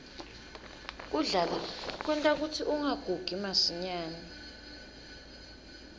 kudlala kwenta kutsi ungagugi masinyane